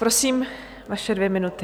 Prosím, vaše dvě minuty.